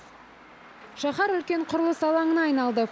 шаһар үлкен құрылыс алаңына айналды